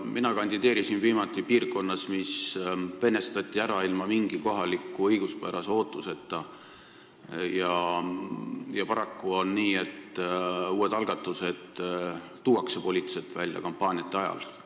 Mina kandideerisin viimati piirkonnas, mis venestati ära ilma mingi kohaliku õiguspärase ootuseta, ja paraku on nii, et uued poliitilised algatused tuuakse välja kampaaniate ajal.